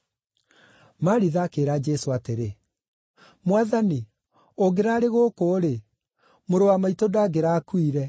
Maritha akĩĩra Jesũ atĩrĩ, “Mwathani ũngĩraarĩ gũkũ-rĩ, mũrũ wa maitũ ndangĩrakuire.